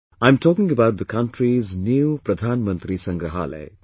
I am talking about the country's new Pradhanmantri Sangrahalaya